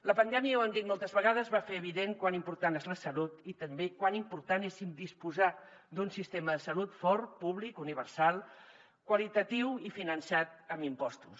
la pandèmia ja ho hem dit moltes vegades va fer evident com d’important és la salut i també com d’important és disposar d’un sistema de salut fort públic universal qualitatiu i finançat amb impostos